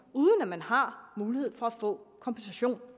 uden at man har mulighed for at få en kompensation